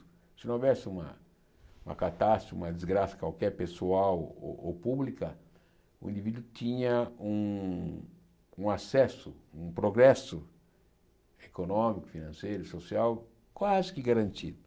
Se não houvesse uma uma catástrofe, uma desgraça qualquer, pessoal ou ou pública, o indivíduo tinha um um acesso, um progresso econômico, financeiro, social, quase que garantido.